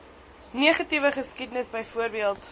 negatiewe geskiedenis byvoorbeeld